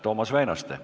Toomas Väinaste.